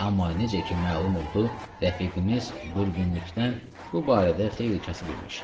Amma necə ki məlum oldu rəfiqimiz Durbunlikdən bu barədə xeyli kasıb imiş.